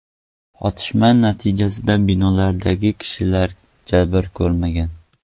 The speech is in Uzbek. Otishma natijasida binodagi kishilar jabr ko‘rmagan.